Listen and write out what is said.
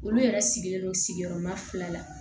Olu yɛrɛ sigilen don sigiyɔrɔma fila la